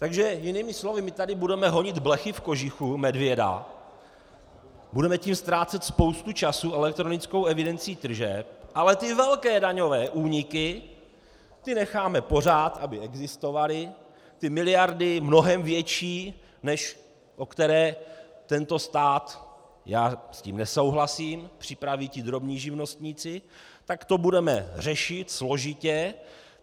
Takže jinými slovy, my tady budeme honit blechy v kožichu medvěda, budeme tím ztrácet spoustu času elektronickou evidencí tržeb, ale ty velké daňové úniky, ty necháme pořád, aby existovaly, ty miliardy mnohem větší, než o které tento stát - já s tím nesouhlasím - připraví ti drobní živnostníci, tak to budeme řešit složitě.